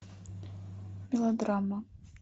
мелодрама